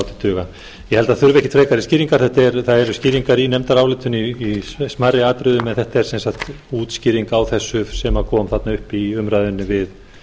held að það þurfi ekki frekari skýringar það eru skýringar í nefndarálitinu í smærri atriðum en þetta er sagt útskýring á þessu sem kom þarna upp í umræðunni við